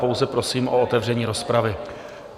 Pouze prosím o otevření rozpravy.